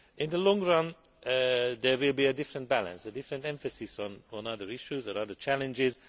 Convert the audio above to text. In the long run there will be a different balance, a different emphasis on other issues and other challenges.